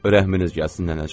Rəhminiz gəlsin nənəcan.